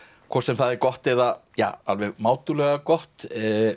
hvort sem það er gott eða alveg mátulega gott